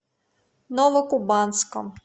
новокубанском